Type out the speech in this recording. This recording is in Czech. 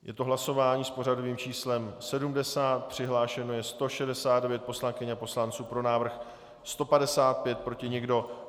Je to hlasování s pořadovým číslem 70, přihlášeno je 169 poslankyň a poslanců, pro návrh 155, proti nikdo.